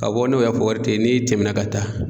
Ka bɔ n'o y'a wari te yen n'i tɛmɛna ka taa